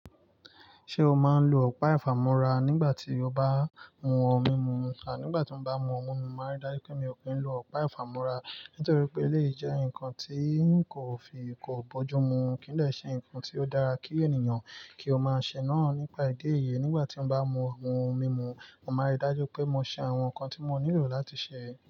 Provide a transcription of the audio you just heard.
Ṣé o máa ń lo ọ̀pá ìfàmúra nígbà tí o bá mú òun múmu? Nígbà tí mo bá mú òun múmu, mo máa ri dájú pé mi ò pín lo ọ̀pá ìfàmúra. Nítorí pé, èleyí jẹ́ nǹkan tí kò fì kò bójúmu kin lè ṣé nǹkan tí ó dára kí ènìyàn kí ó má ṣè naa nípà ìdí èyi. Nígbà tí mo bá mú òun múmu, mo máa ri dájú pé mo ṣe àwọn nǹkan tí mo nílò láti ṣè é.